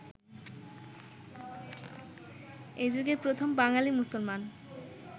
এযুগের প্রথম বাঙালি মুসলমান